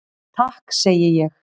Takk segi ég.